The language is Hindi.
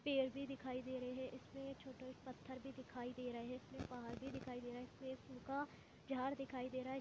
पेड़ भी दिखाई दे रहे हैं इसमें छोटा एक पत्थर भी दिखाई दे रहे हैं इसमें पहाड़ भी दिखाई दे रहे हैं इसमें सुखा झाड दिखाई दे रहा है।